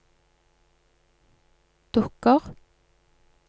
dukker